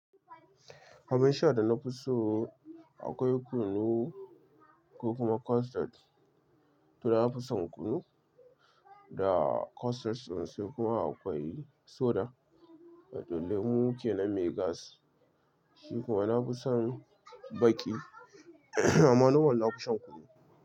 Abin sha da na fi so akwai kunu ko kuma custard. To na fi son kunu da custard din su kuma akwai soda da dollemu ke na Me gas. Shi kuma na fi son baki amma nomal na fi shan kunu.